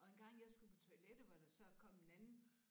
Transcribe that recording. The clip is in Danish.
Og en gang jeg skulle på toilettet hvor der så kom en anden